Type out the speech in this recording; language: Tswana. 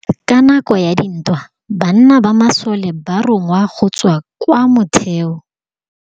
Ka nakô ya dintwa banna ba masole ba rongwa go tswa kwa mothêô.